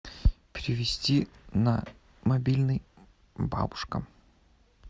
перевести на мобильный бабушка